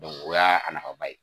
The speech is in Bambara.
o y'a a nafa ba ye.